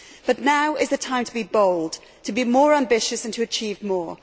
But now is the time to be bold, to be more ambitious and to achieve more.